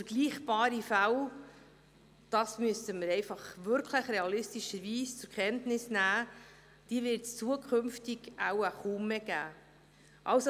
Vergleichbare Fälle – das müssen wir realistischerweise nun wirklich einfach zur Kenntnis nehmen – wird es zukünftig kaum mehr geben.